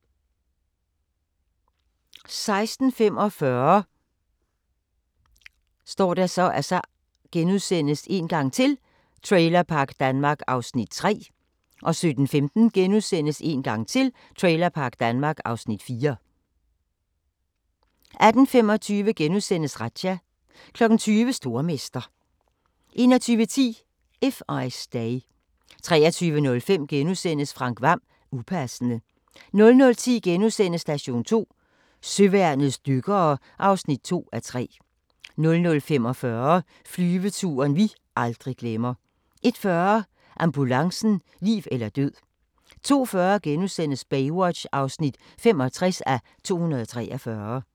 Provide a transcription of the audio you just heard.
16:45: Trailerpark Danmark (Afs. 3)* 17:15: Trailerpark Danmark (Afs. 4)* 18:25: Razzia * 20:00: Stormester 21:10: If I Stay 23:05: Frank Hvam - Upassende * 00:10: Station 2: Søværnets dykkere (2:3)* 00:45: Flyveturen vi aldrig glemmer 01:40: Ambulancen - liv eller død 02:40: Baywatch (65:243)*